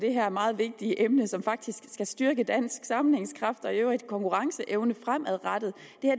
det her meget vigtige emne som faktisk skal styrke dansk sammenhængskraft og i øvrigt også konkurrenceevnen fremadrettet